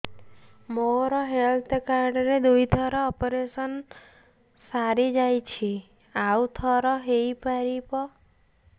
ମୋର health card ରେ ଦୁଇ ଥର ଅପେରସନ ସାରି ଯାଇଛି ଆଉ ଥର ହେଇପାରିବ